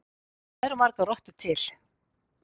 Hvað eru margar rottur til?